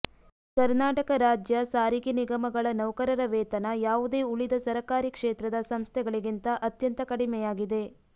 ಕರ್ನಾಟಕ ರಾಜ್ಯ ಸಾರಿಗೆ ನಿಗಮಗಳ ನೌಕರರ ವೇತನ ಯಾವುದೇ ಉಳಿದ ಸರಕಾರಿ ಕ್ಷೇತ್ರದ ಸಂಸ್ಥೆಗಳಿಂತ ಅತ್ಯಂತ ಕಡಿಮೆಯಾಗಿದೆ